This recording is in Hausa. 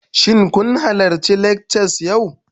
Shin kun halarci lectures yau?